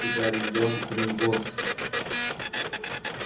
ты гарри идёшь в гринготтс